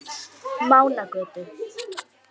Mánagötu